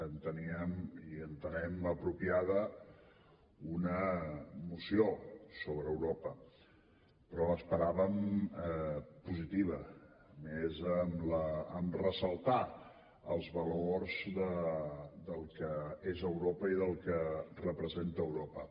enteníem i entenem apropiada una moció sobre europa però l’esperàvem positiva més en ressaltar els valors del que és europa i del que representa europa